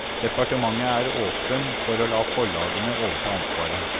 Departementet er åpen for å la forlagene overta ansvaret.